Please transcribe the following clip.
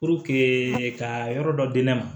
ka yɔrɔ dɔ di ne ma